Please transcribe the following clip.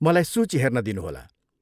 मलाई सूची हेर्न दिनुहोला।